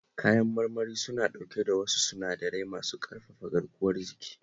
Kayan marmari suna dauke da wasu sinadarai masu ƙarfafa garkuwar jiki